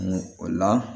o la